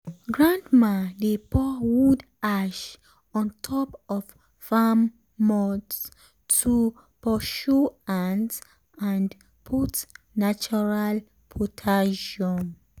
grandma dey pour wood ash on top of farm mounds to pursue ant and put natural potassium.